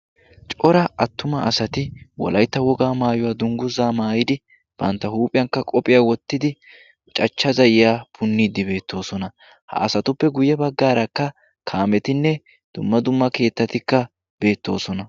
cora attuma asati wolaytta wogaa maayuwaa dungguzaa maayidi bantta huuphiyankka qophiyaa wottidi cachcha za'iya punniiddi beettoosona ha asatuppe guyye baggaarakka kaametinne dumma dumma keettatikka beettoosona